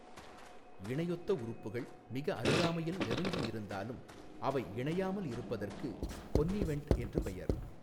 இணையொத்த உறுப்புகள் மிக அருகாமையில் நெருங்கி இருந்தாலும் அவை இணையாமல் இருப்பதற்கு கொன்னிவென்ட் என்று பெயா்.